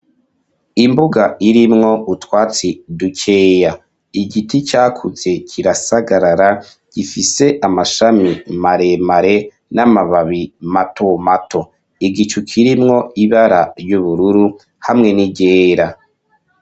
Imbuga, irimwo utwatsi dukeya; igiti cakuze kirasagarara, gifise amashami maremare, n'amababi mato mato; igicu kirimwo, ibara ry'ubururu, hamwe n'iryera.